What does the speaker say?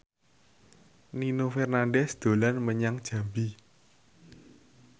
Nino Fernandez dolan menyang Jambi